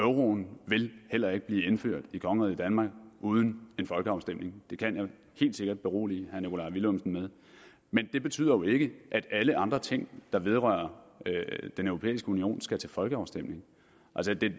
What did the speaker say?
og euroen vil heller ikke blive indført i kongeriget danmark uden en folkeafstemning det kan jeg helt sikkert berolige herre nikolaj villumsen med men det betyder jo ikke at alle andre ting der vedrører den europæiske union skal til folkeafstemning